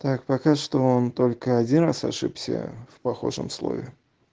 так пока что он только один раз ошибся в похожем слове